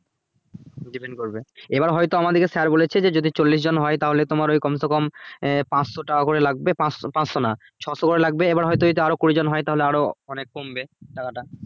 depend করবে এবার হয়তো আমাদেরকে sir বলেছে যে যদি চল্লিশ জন হয় তাহলে তোমার ওই কম সে কম আহ পাঁচশো টাকা করে লাগবে পাঁচশো~ পাঁচশো না ছশো করে লাগবে এবার হয়ে তো যদি আরো কুড়ি জন হয়ে তাহলে আরো মানে কমবে টাকাটা